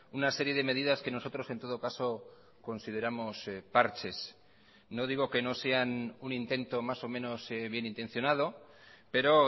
una serie de medidas que nosotros en todo caso consideramos parches no digo que no sean un intento más o menos bienintencionado pero